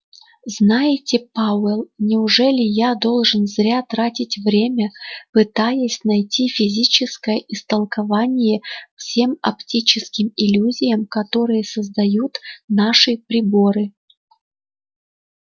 знаете пауэлл неужели я должен зря тратить время пытаясь найти физическое истолкование всем оптическим иллюзиям которые создают наши приборы